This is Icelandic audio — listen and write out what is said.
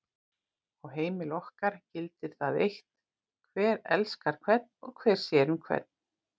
Á heimili okkar gildir það eitt hver elskar hvern og hver sér um hvern.